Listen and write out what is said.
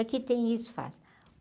Aqui tem isso.